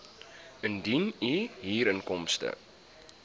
indien u huurinkomste